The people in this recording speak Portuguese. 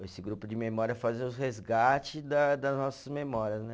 Esse grupo de memória faz os resgate da das nossas memórias, né?